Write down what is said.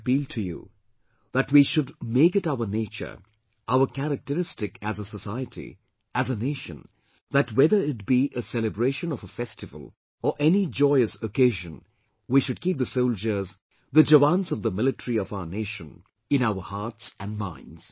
I appeal to you that we should make it our nature, our characteristic as a society, as a Nation that whether it be a celebration of a festival or any joyous occasion, we should keep the soldiers, the jawans of the military of our nation in our hearts and minds